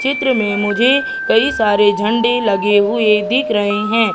चित्र में मुझे कई सारे झंडे लगे हुए दिख रहे हैं।